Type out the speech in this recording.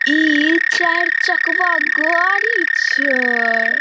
इ चार चकवा गाड़ी छै ।